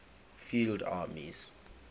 field armies